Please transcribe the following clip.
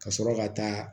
Ka sɔrɔ ka taa